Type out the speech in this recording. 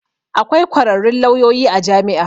Akwai kwararrun lauyoyi a jami'a.